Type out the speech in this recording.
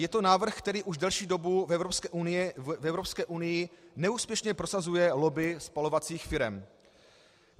Je to návrh, který už delší dobu v Evropské unii neúspěšně prosazuje lobby spalovacích firem.